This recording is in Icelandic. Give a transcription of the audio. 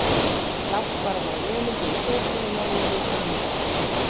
Láttu bara fara vel um þig í sófanum á meðan ég hita handa okkur kaffi.